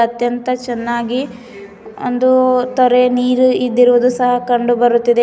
ಅತ್ಯಂತ ಚೆನ್ನಾಗಿ ಒಂದು ತೋರೆ ನೀರು ಇದ್ದಿರುವುದು ಸಹ ಕಂಡು ಬರುತ್ತಿದೆ.